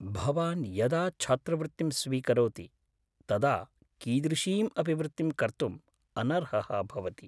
भवान् यदा छात्रवृत्तिं स्वीकरोति तदा कीदृशीम् अपि वृत्तिं कर्तुम् अनर्हः भवति।